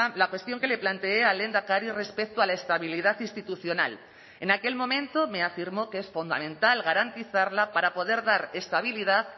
la cuestión que le planteé al lehendakari respecto a la estabilidad institucional en aquel momento me afirmó que es fundamental garantizarla para poder dar estabilidad